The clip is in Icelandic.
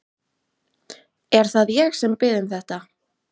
Er það ég sem bið um þetta?